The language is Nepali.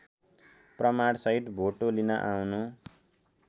प्रमाणसहित भोटो लिन आउनू